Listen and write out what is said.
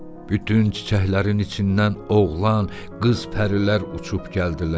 Bütün çiçəklərin içindən oğlan, qız pərilər uçub gəldilər.